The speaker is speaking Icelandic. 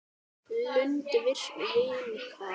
Lund viknar.